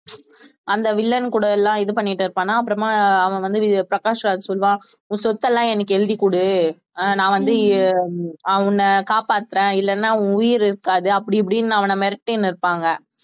அந்த வில்லன் கூட எல்லாம் இது பண்ணிட்டு இருப்பானா அப்புறமா அவன் வந்து பிரகாஷ்ராஜ் சொல்லுவான் உன் சொத்தெல்லாம் எனக்கு எழுதிக்குடு அஹ் நான் வந்து அஹ் உன்னை காப்பாத்துறேன் இல்லைன்னா உன் உயிர் இருக்காது அப்படி இப்படின்னு அவன மிரட்டின்னு இருப்பாங்க